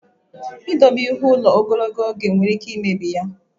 Ịdobe ihe ụlọ ogologo oge nwere ike imebi ya.